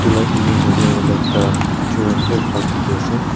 like image hoise koile ekta children play park dikhi ase.